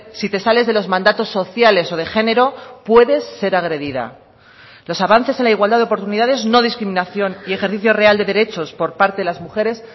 si te sales de los mandatos sociales o de género puedes ser agredida los avances en la igualdad de oportunidades no discriminación y ejercicio real de derechos por parte de las mujeres